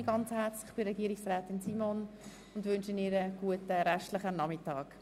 Ich bedanke mich bei Regierungsrätin Simon, verabschiede mich von ihr und wünsche ihr einen guten Nachmittag.